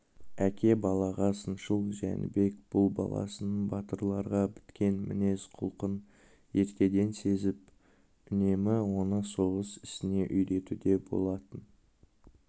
әке балаға сыншыл жәнібек бұл баласының батырларға біткен мінез-құлқын ертеден сезіп үнемі оны соғыс ісіне үйретуде болатын